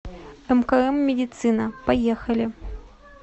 мкм медицина поехали